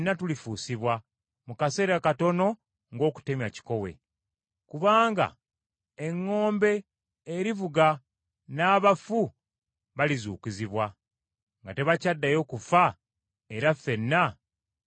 mu kaseera katono ng’okutemya kikowe. Kubanga eŋŋombe erivuga, n’abafu balizuukizibwa, nga tebakyaddayo kufa era ffenna tulifuusibwa.